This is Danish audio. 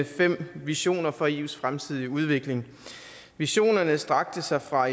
fem visioner for eus fremtidige udvikling visionerne strakte sig fra